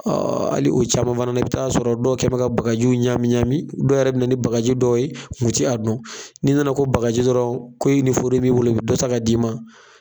Ɔ hali o caman fana na, i bɛ t'a sɔrɔ dɔw kɛmɛ ka bagajiw ɲami ɲami , dɔw yɛrɛ bɛna ni bagaji dɔw ye minnu yɛrɛ tɛ yan, u tɛ a dɔn, n'i nana ko bakaji dɔrɔnw ko nin foro in b'i bolo , u bɛ dɔ ta ka d'i ma.